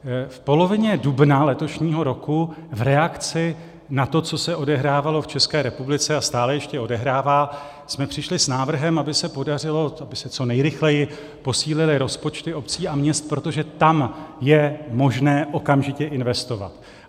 V polovině dubna letošního roku v reakci na to, co se odehrávalo v České republice a stále ještě odehrává, jsme přišli s návrhem, aby se podařilo, aby se co nejrychleji posílily rozpočty obcí a měst, protože tam je možné okamžitě investovat.